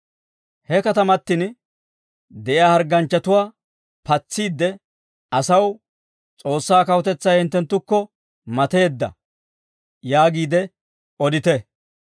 He katamatin de'iyaa hargganchchatuwaa patsiidde asaw, ‹S'oossaa Kawutetsay hinttekko mateedda› yaagiide odite.